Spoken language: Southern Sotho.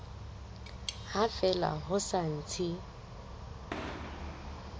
ha fela ho sa ntse